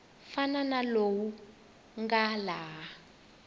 fana na lowu nga laha